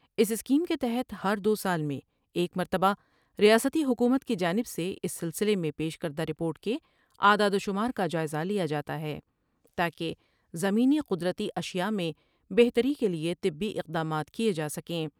اس scheme کے تحت ہر دوسال میں ایک مرتبہ ریاستی حکومت کی جانب سے اس سلسلے میں پیش کردہ رپورٹ کے اعداد و شمار کا جائزہ لیا جا تا ہے تا کہ زمینی قدرتی اشیاء میں بہتری کے لیے طبی اقدامات کیے جاسکیں ۔